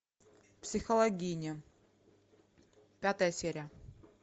психологини пятая серия